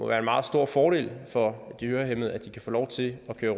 være en meget stor fordel for de hørehæmmede at de kan få lov til at køre